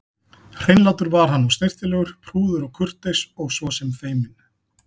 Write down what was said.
Hreinlátur var hann og snyrtilegur, prúður og kurteis og svo sem feiminn.